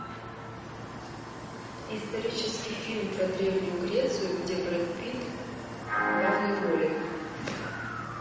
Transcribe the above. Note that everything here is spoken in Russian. исторический фильм про древнюю грецию где брэд питт в главной роли